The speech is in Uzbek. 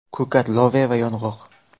Ko‘kat, loviya va yong‘oq.